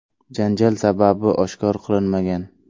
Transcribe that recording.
Janjal sababi oshkor qilinmagan.